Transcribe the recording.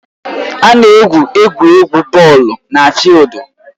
A na-egwu egwuregwu bọọlụ na fịịldu